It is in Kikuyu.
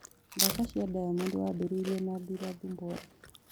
Thaka cĩa diamond wambiriirie na ndurathumbora